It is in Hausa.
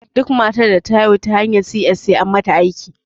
Duk matar da ta haihu ta hanyar si ƴes sai an mata ɗinki